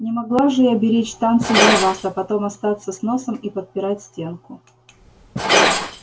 не могла же я беречь танцы для вас а потом остаться с носом и подпирать стенку